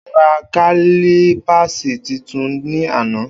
O rá kalípásí titun ní àná